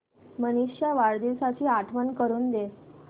मनीष च्या वाढदिवसाची आठवण करून दे